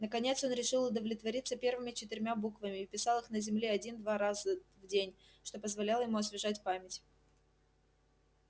наконец он решил удовлетвориться первыми четырьмя буквами и писал их на земле один-два раза в день что позволяло ему освежать память